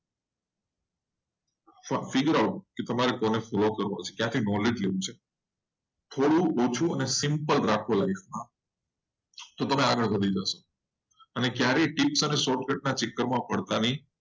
એ તમારા પર છે એટલે તમારે કોને follow કરવો છે. થોડું ઓછું અને simple રાખું life માં તો તમે આગળ વધી જશો. અને ત્યારે તમે tips અને short cut માં પડતા નહીં.